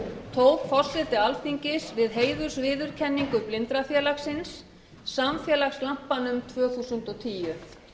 tók forseti alþingis við heiðursviðurkenningu blindrafélagsins samfélagslampanum tvö þúsund og tíu